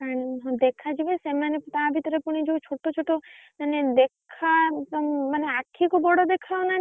ଦେଖାଯିବେ ସେମାନେ ତା ଭିତରେ ଫୁଣି ଯୋଉ ଛୋଟଛୋଟ ମାନେ ଦେଖା ମାନେ ଆଖିକୁ ବଡ ଦେଖାଯାଉନାହାନ୍ତି କିନ୍ତୁ,